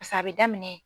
a bɛ daminɛ